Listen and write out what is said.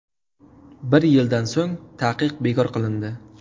Bir yildan so‘ng taqiq bekor qilindi.